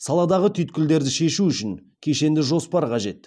саладағы түйткілдерді шешу үшін кешенді жоспар қажет